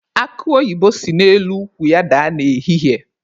Akụ oyibo si n'elu ukwu ya daa n'ehihie.